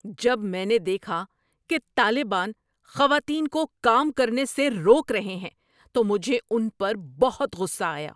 جب میں نے دیکھا کہ طالبان خواتین کو کام کرنے سے روک رہے ہیں تو مجھے ان پر بہت غصہ آیا۔